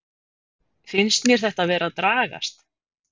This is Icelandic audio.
Finnst mér þetta vera að dragast?